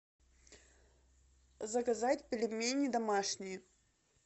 заказать пельмени домашние